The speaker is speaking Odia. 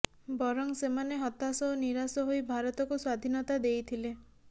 ବରଂ ସେମାନେ ହାତାଶ ଓ ନିରାଶ ହୋଇ ଭାରତକୁ ସ୍ୱାଧୀନତା ଦେଇଥିଲେ